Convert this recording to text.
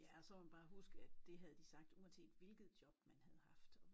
Ja og så må man bare huske at det havde de sagt uanset hvilket job du havde haft